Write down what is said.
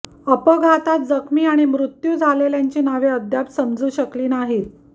अपघातात जखमी आणि मृत्यू झालेल्यांची नावे अद्याप समजू शकली नाहीत